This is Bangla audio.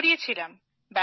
না করিয়েছিলাম